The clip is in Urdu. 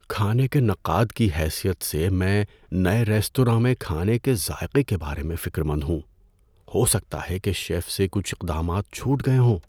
کھانے کے نقاد کی حیثیت سے، میں نئے ریستوراں میں کھانے کے ذائقے کے بارے میں فکر مند ہوں۔ ہو سکتا ہے کہ شیف سے کچھ اقدامات چھوٹ گئے ہوں۔